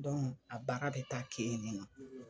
a baara ka taa k'e ɲɛna.